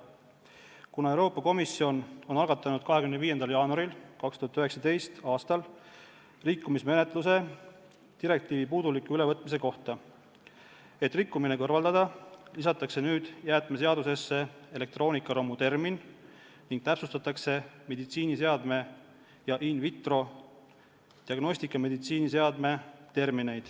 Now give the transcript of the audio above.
Kuna Euroopa Komisjon algatas 25. jaanuaril 2019. aastal rikkumismenetluse direktiivi puuduliku ülevõtmise kohta, siis selleks, et rikkumine kõrvaldada, lisatakse nüüd jäätmeseadusesse termin "elektroonikaromu" ning täpsustatakse termineid "meditsiiniseade" ja "in vitro diagnostikameditsiiniseade".